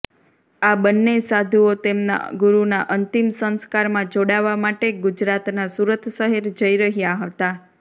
આ બંને સાધુઓ તેમના ગુરુના અંતિમ સંસ્કારમાં જોડાવા માટે ગુજરાતના સુરત શહેર જઈ રહ્યા હતા